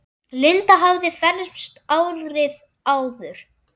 Linda hafði fermst árið áður.